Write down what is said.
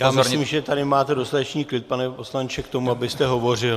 Já myslím, že tady máte dostatečný klid, pane poslanče, k tomu, abyste hovořil.